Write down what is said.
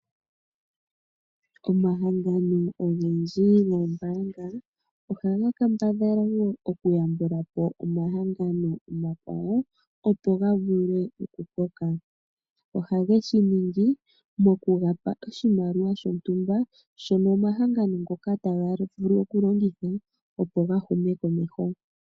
Omahangano ogendji goombaanga ohaga kambadhala woo okuyambulapo omahangano omakwawo opo gavule oku koka. Oha ge shiningi noku ga pa oshimaliwa shontumba shono omahangano ngoka taga vulu oku longitha opo ga hume komeho.